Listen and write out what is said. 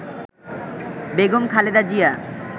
Begum Khaleda Zia